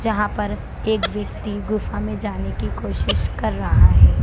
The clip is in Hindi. जहाँ पर एक व्यक्ति गुफा में जाने की कोशिश कर रहा है।